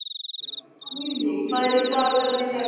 Húni, hvað er á dagatalinu í dag?